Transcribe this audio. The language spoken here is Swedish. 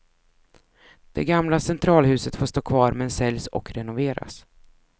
Det gamla centralhuset får stå kvar men säljs och renoveras.